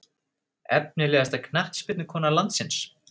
Efnilegasta knattspyrnukona landsins?